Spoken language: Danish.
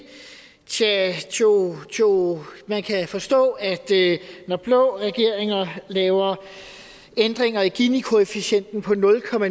tjah tjoh tjoh man kan forstå at når blå regeringer laver ændringer i ginikoefficienten på nul